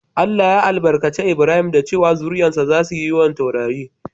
Allah ya albarkace lbrahim da cewa"Zuri'an sa zasu yi yawan taurari."